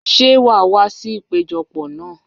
Ṣé wàá wá sí ìpéjọ pọ̀ náà?